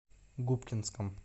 губкинском